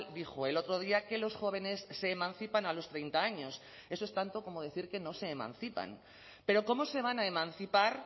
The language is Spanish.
dijo el otro día que los jóvenes se emancipan a los treinta años eso es tanto como decir que no se emancipan pero cómo se van a emancipar